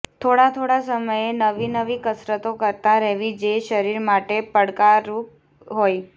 થોડા થોડા સમયે નવી નવી કસરતો કરતાં રહેવી જે શરીર માટે પડકારરૂપ હોય